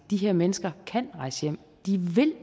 de her mennesker rejse